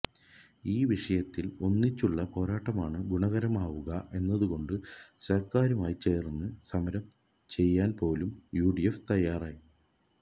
ഈ വിഷയത്തില് ഒന്നിച്ചുള്ള പോരാട്ടമാണ് ഗുണകരമാവുക എന്നുകണ്ട് സര്ക്കാരുമായി ചേര്ന്ന് സമരം ചെയ്യാന്പോലും യു ഡി എഫ് തയ്യാറായി